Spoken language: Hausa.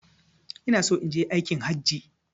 Inaso inje aikin hajji